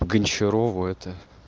гончарова это